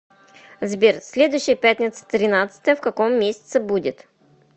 сбер следующая пятница тринадцатое в каком месяце будет